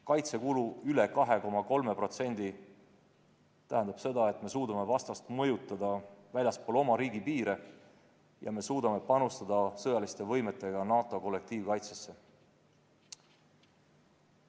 Kaitsekulu üle 2,3% tähendab seda, et me suudame vastast mõjutada väljaspool oma riigi piire ja panustada sõjaliste võimetega NATO kollektiivkaitsesse.